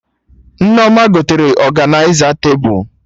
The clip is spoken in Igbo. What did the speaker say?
Nneoma gotere ọganịza tebụl